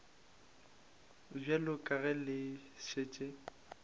bjalo ka ge le šetše